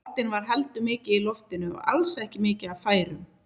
Boltinn var heldur mikið í loftinu og alls ekki mikið af færum.